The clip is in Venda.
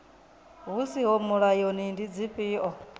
hu siho mulayoni ndi dzifhio